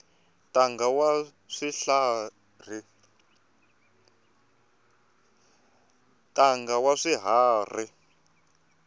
ntanga wa swiharhi